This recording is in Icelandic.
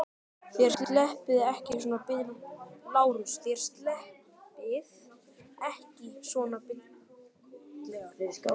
LÁRUS: Þér sleppið ekki svona billega.